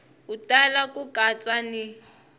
u tala ku katsa ni